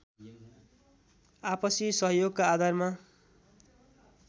आपसि सहयोगका आधारमा